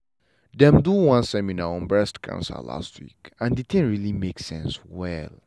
dem do one seminar on breast cancer last week and the thing really make sense well.